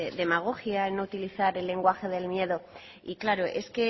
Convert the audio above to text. demagogia no utilizar el lenguaje del miedo y claro es